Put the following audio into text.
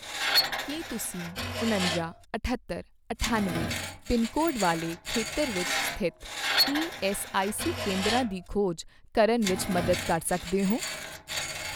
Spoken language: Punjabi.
ਕੀ ਤੁਸੀਂ ਉਣੰਜਾ, ਅਠੱਤਰ, ਅਠਾਨਵੇਂ ਪਿੰਨਕੋਡ ਅਤੇ ਵਾਲੇ ਖੇਤਰ ਵਿੱਚ ਸਥਿਤ ਈਐੱਸਆਈਸੀ ਕੇਂਦਰਾਂ ਦੀ ਖੋਜ ਕਰਨ ਵਿੱਚ ਮਦਦ ਕਰ ਸਕਦੇ ਹੋ?